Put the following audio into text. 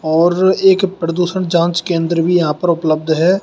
और एक प्रदूषण जांच केंद्र भी यहां पर उपलब्ध है।